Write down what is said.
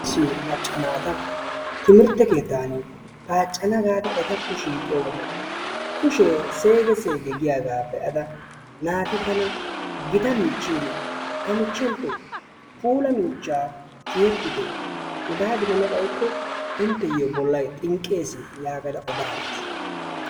Macca naata timirte keettan paaccana gaada ettakko shiiqqiyo wode kushshee seege seege giyaagaa be'ada naati tana gita michchiin ta michchenttoo puula miichchaa tiyetitte hegaa gidana xayikko intteyoo bollay xinqqees yagada odaagas.